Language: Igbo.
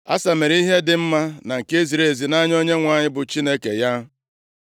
Asa mere ihe dị mma na nke ziri ezi nʼanya Onyenwe anyị bụ Chineke ya.